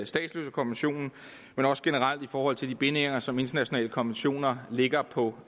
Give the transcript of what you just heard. statsløsekonventionen men også generelt i forhold til de bindinger som internationale konventioner lægger på